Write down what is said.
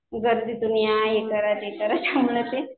गर्दीतून या थांबा हे करा ते करा